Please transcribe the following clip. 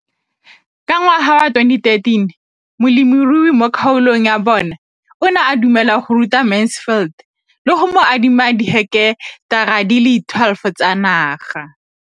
Ka ngwaga wa 2013, molemirui mo kgaolong ya bona o ne a dumela go ruta Mansfield le go mo adima di heketara di le 12 tsa naga.